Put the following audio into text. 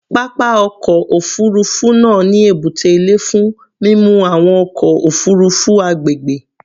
Papa ọkọ ofurufu naa ni ebute ile fun mimu awọn ọkọ ofurufu agbegbe